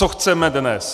Co chceme dnes?